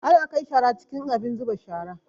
Ana kai shara cikin abin zuba shara